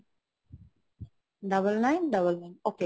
double nine double nine , okay